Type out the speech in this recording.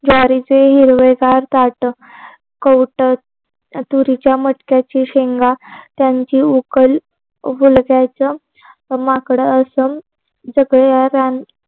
ज्वारीचे हिरवेगार ताट कौटंट तुरीच्या मटक्याची शेंगा त्यांची माकड असं